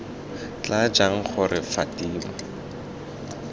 tla jang gore fa fatima